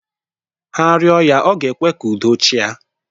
Ha rịọ ya ọ ga-ekwe ka udo chịa.